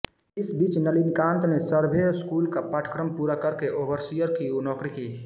इस बिच नलिनीकांत ने सर्भे स्कूल का पाठक्रम पूरा करके ओबरसिअर की नौकरी की